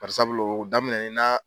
Barisabulu o daminɛ nen na